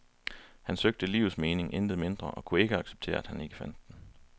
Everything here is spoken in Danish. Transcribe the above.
Han søgte livets mening, intet mindre, og kunne ikke acceptere, at han ikke fandt den.